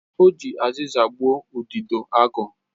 O ji aziza gbuo udidoagu